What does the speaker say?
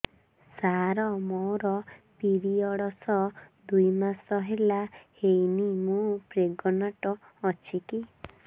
ସାର ମୋର ପିରୀଅଡ଼ସ ଦୁଇ ମାସ ହେଲା ହେଇନି ମୁ ପ୍ରେଗନାଂଟ ଅଛି କି